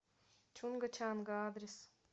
чунга чанга адрес